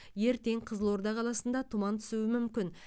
ертең қызылорда қаласында тұман түсуі мүмкін